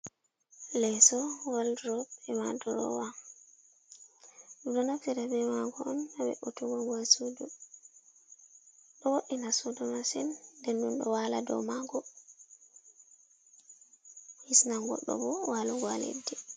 Leeso, woldurop, e madurowa, ɗum ɗo naftira be mago on ha ve'utuggo sudo ɗo woɗina sudu masin, nden ɗo wala dow mago hisnan goɗɗo bo walugo ha leddi.